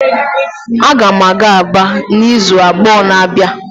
Aga m aga Aba n'izu abụọ na-abịa